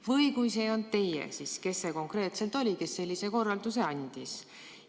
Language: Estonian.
Või kui see ei olnud teie, siis kes konkreetselt oli see, kes sellise korralduse andis?